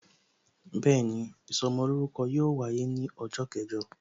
Bẹẹni, ìsọmolórúkọ yóò wáyé ní ọjọ́ kẹjọ